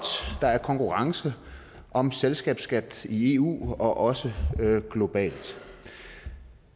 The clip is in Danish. der er konkurrence om selskabsskat i eu og også globalt